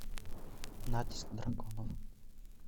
натиск драконов